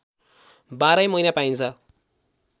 बाह्रै महिना पाइन्छ